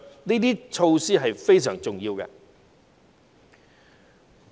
這些措施非常重要。